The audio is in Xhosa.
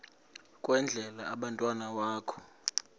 kwendele umntwana wakho